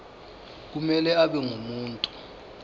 kumele abe ngumuntu